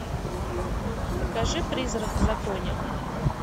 покажи призрак в законе